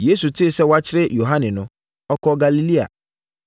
Yesu tee sɛ wɔakyere Yohane no, ɔkɔɔ Galilea.